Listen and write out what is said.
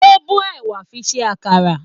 O bó ẹ̀wà fi ṣe àkàrà.